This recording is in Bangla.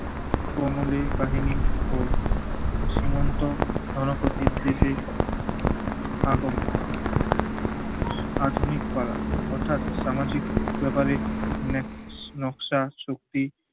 কমল এই কাহিনী ও সীমন্ত রণ প্রতিপ দেশে আগমন। আধুনিক পাড়া অর্থাৎ সামাজিক ব্যপারে নেক~ নকশা শক্তি